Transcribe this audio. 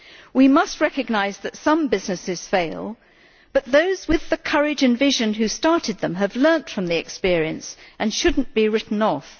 We must recognise that some businesses fail, but those with the courage and vision to have started them have learned from the experience and should not be written off.